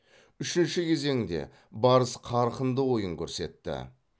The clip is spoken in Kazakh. үшінші кезеңде барыс қарқынды ойын көрсетті